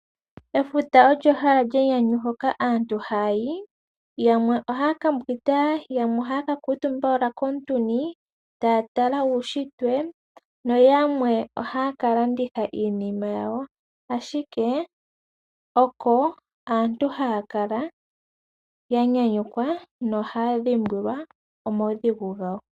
Efuta olyo ehala lyenyanyu hoka aantu haayi , yamwe ohaya ka mbwinda, yamwe ohaya ka kuutumba owala komintuni taya tala uunshitwe, no yamwe ohaya ka landitha Iinima yawo, ashike oko aantu haya kala ya nyanyukwa nohaya dhimbwila omaudhigu gawo.